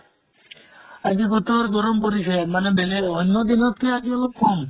আজি বতৰ গৰম পৰিছে মানে বেলেগ অন্য় দিনত্কে আজি অলপ কম।